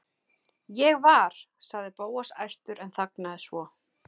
Ég var. sagði Bóas æstur en þagnaði svo.